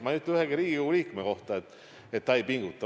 Ma ei ütle ühegi Riigikogu liikme kohta, et ta ei pinguta.